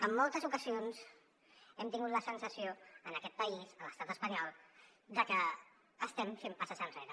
en moltes ocasions hem tingut la sensació en aquest país a l’estat espanyol de que estem fent passes enrere